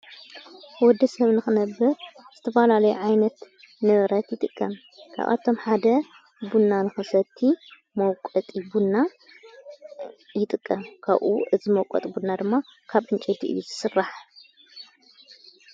ወዲ ሰብ ንኽነብ ዝተፋላለይ ዓይነት ንብረት ይጥቀም ካብኣቶም ሓደ ቡና ንኽሰቲ መውቈጢ ቡና ይጥቀም ካኡ እዝመቈጥ ቡና ድማ ካብ እንጨይቲ ኢዩ ዘስራሕ